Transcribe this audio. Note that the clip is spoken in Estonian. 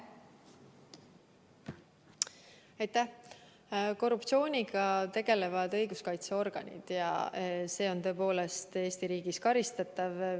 Korruptsiooniga tegelevad õiguskaitseorganid ja see on tõepoolest Eesti riigis karistatav.